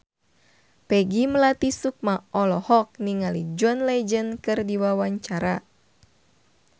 Peggy Melati Sukma olohok ningali John Legend keur diwawancara